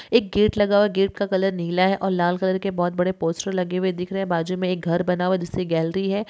एक गेट लगा हुआ है| गेट का कलर नीला है और लाल कलर के बहुत बड़े पोस्टर लगे हुए दिख रहा है| बाजू में एक घर बना हुआ है जिससे गैलरी है।